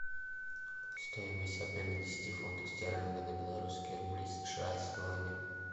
стоимость обмена десяти фунтов стерлингов на белорусские рубли сша сегодня